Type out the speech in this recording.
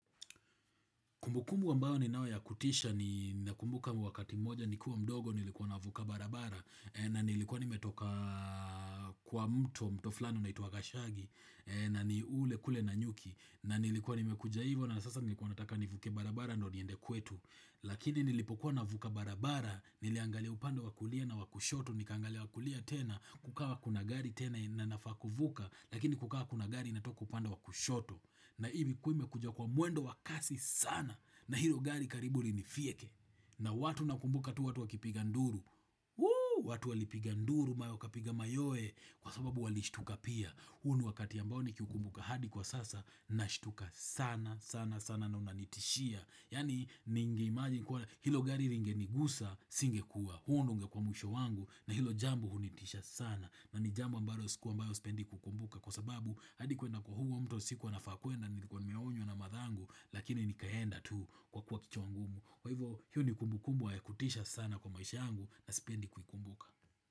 Kumbukumu ambao ni nao ya kutisha ni nakumbuka wakati moja ni kuwa mdogo ni likuwa navuka barabara na nilikuwa nimetoka kwa mto mto flani unaitwa gashagi na ni ule kule nanyuki na nilikuwa nimekuja hivo na sasa nilikuwa nataka nivuke barabara ndio niende kwetu. Lakini nilipokuwa na vuka barabara niliangalia upando wakulia na wakushoto nikaangalia wakulia tena kukawa kuna gari tena na nafaa kuvuka lakini kukawa kuna gari inatoka upande wa kushoto. Na ilikuwa imekuja kwa muwendo wakasi sana na hilo gari karibu linifieke na watu nakumbuka tu watu wakipiga nduru watu wali piga nduru ma wakapiga mayoe kwa sababu walishtuka pia huo wakati ambao ni kiukumbuka hadi kwa sasa na shtuka sana sana sana na unanitishia yani ningeimagine hilo gari lingenigusa singekua huo ndio ungekuwa mwisho wangu na hilo jambo hunitisha sana na ni jambo ambayo siku ambayo sipendi kukumbuka Kwa sababu hadi kuenda kwa huo mto sikuwa nafaa kuenda Nilikuwa nimeonyo na mathangu Lakini nikaenda tu kwa kuwa kicho wangumu Kwa hivyo hiyo ni kumbukumbwa ya kutisha sana kwa maisha angu na spendi kukumbuka.